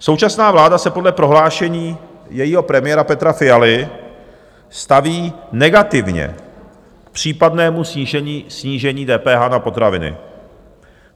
Současná vláda se podle prohlášení jejího premiéra Petra Fialy staví negativně k případnému snížení DPH na potraviny.